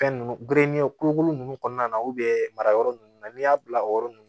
Fɛn ninnu gerennen kulokolon nunnu kɔnɔna na mara yɔrɔ nunnu na n'i y'a bila o yɔrɔ nunnu na